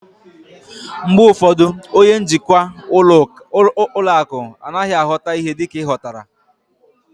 Mgbe ụfọdụ, onye njikwa ụlọ akụ anaghị aghọta ihe dịka ị ghọtara